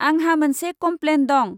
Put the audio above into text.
आंहा मोनसे कमप्लेन दं।